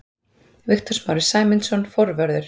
Viktor Smári Sæmundsson, forvörður.